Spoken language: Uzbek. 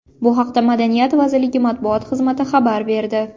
Bu haqda Madaniyat vazirligi matbuot xizmati xabar berdi.